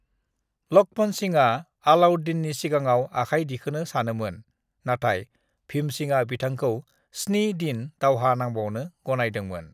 "लक्ष्मणसिंहआ अलाउद्दीन नि सिगाङाव आखाइ दिखोनो सानोमोन, नाथाइ भीमसिंहआ बिथांखौ स्नि दिन दावहा नांबावनो गनायहोदोंमोन।"